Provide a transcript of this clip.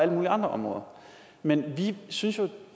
mulige andre områder men vi synes jo